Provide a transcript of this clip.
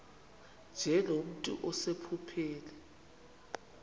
nje nomntu osephupheni